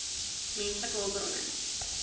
menslike hulpbronne